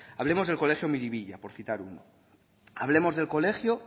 hablemos del colegio miribilla por citar uno hablemos del colegio